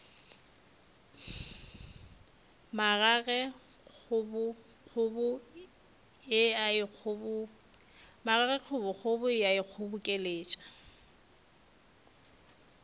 magage kgobokgobo e a ikgobokeletša